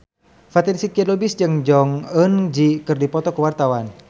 Fatin Shidqia Lubis jeung Jong Eun Ji keur dipoto ku wartawan